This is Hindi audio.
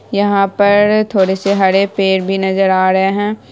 यहाँ पर थोड़े से हरे पेड़ भी नज़र आ रहे है।